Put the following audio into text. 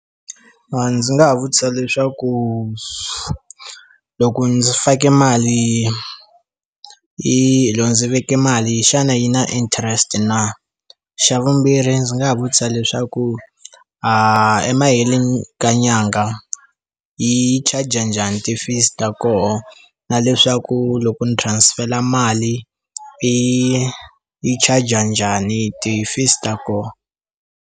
A ndzi nga vutisa leswaku loko ndzi fake mali yi lowu ndzi veke mali xana yi na interest na xa vumbirhi ndzi nga vutisa leswaku a emaheleni ka nyangha yi charger njhani ti fees kona na leswaku loko ni transfer mali yi yi charger njhani ti fees ta koho.